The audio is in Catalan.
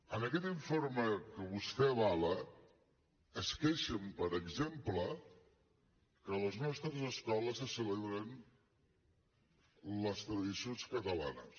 en aquest informe que vostè avala es queixen per exemple que a les nostres escoles se celebren les tradicions catalanes